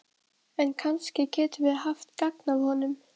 En kannski getum við haft gagn af honum.